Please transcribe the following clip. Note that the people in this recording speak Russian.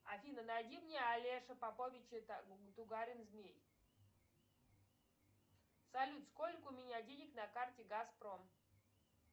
афина найди мне алеша попович и тугарин змей салют сколько у меня денег на карте газпром